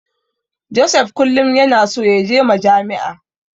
Joseph kullum yana so yaje Majami'a.